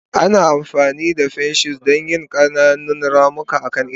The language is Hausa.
Ana amfani da pinches don yin ƙananan ramuka akan itace.